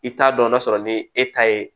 I t'a dɔn n'a sɔrɔ ni e ta ye